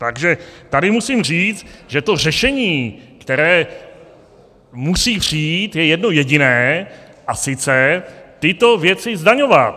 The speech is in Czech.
Takže tady musím říct, že to řešení, které musí přijít, je jedno jediné, a sice tyto věci zdaňovat.